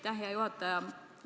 Aitäh, hea juhataja!